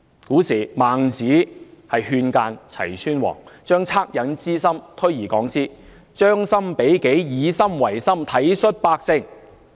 古時候，孟子勸諫齊宣王將惻隱之心推而廣之，將心比己，以心為心，體恤百姓。